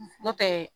Nɔtɛ